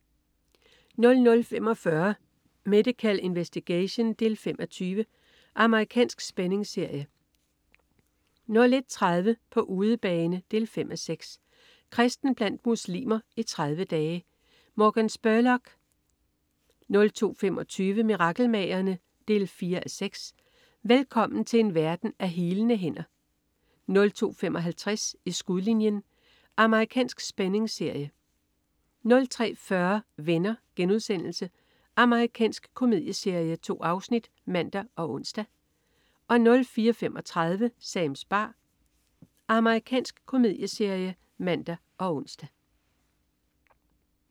00.45 Medical Investigation 5:20. Amerikansk spændingsserie 01.30 På udebane 5:6. Kristen blandt muslimer i 30 dage! Morgan Spurlock 02.25 Mirakelmagerne? 4:6. Velkommen til en verden af healende hænder 02.55 I skudlinjen. Amerikansk spændingsserie 03.40 Venner.* Amerikansk komedieserie. 2 afsnit (man og ons) 04.35 Sams bar. Amerikansk komedieserie (man og ons)